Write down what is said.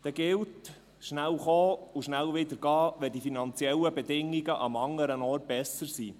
Dann gilt: «Schnell kommen und schnell wieder gehen, wenn die finanziellen Bedingungen am anderen Ort besser sind.»